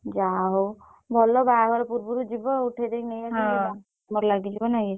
ଯା ହଉ ଭଲ ବାହାଘର ପୁର୍ବରୁ ଯିବ ଉଠେଇ ଦେଇକି ନେଇଆସିଲେ । ବାହାଘର କାମରେ ଲାଗିଯିବ ନାଇଁ କି।